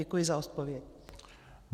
Děkuji za odpověď.